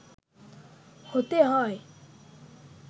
হতে হয়